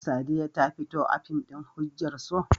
Sadiya ta fito a fim ɗin "Hujjar So"?